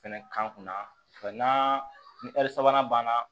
Fɛnɛ kan kunna ni sabanan banna